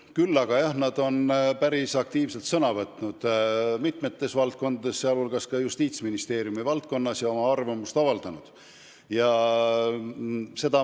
Küll aga, jah, nad on päris aktiivselt sõna võtnud mitmes valdkonnas, sh ka Justiitsministeeriumi valdkonnas, ja oma arvamust avaldanud.